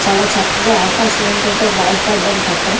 చాలా చక్కగా అవకాశం ఉంటది బాగుపడ్డానికి అక్కడ.